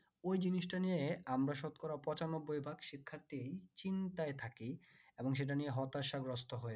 ওই জিনিস টা নিয়ে আমরা শতকরা পঁচানব্বই ভাগ শিক্ষাত্রী চিন্তায় থাকি এবং সেটা নিয়ে হতাশা গ্রস্ত হয়